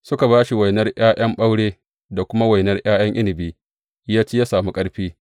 Suka ba shi saura wainan ’ya’yan ɓaure da kuma wainan ’ya’yan inabi, ya ci ya sami ƙarfi.